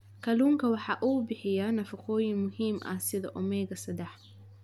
Kalluunku waxa uu bixiyaa nafaqooyin muhiim ah sida omega-sedax.